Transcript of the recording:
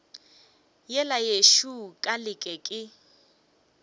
yela yešo ka leke ke